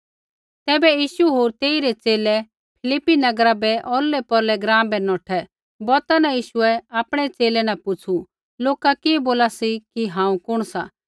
तैबै यीशु होर तेइरै च़ेले फिलिप्पी नगरा रै औरलैपौरलै ग्राँ बै नौठै बौता न यीशुऐ आपणै च़ेले न पुछ़ू लोका कि बोला सी कि हांऊँ कुण सा